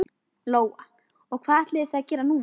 Lóa: Og hvað ætlið þið að gera núna?